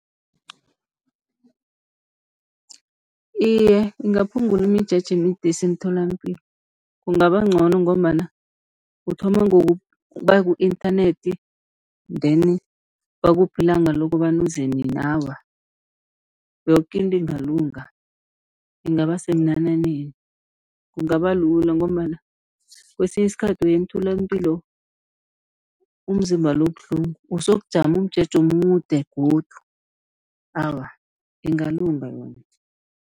Iye, ingaphungula imijeje emide esemtholampilo kungaba ncono, ngombana uthoma ngokuba ku-inthanethi deni bakuphe ilanga lokobana uze nini. Awa, yoke into ingalunga ingaba semnananeni kungaba lula, ngombana kesinye isikhathi uya emtholapilo umzimba lo ubuhlungu usayokujama umjeje omude godu, awa ingalunga yona.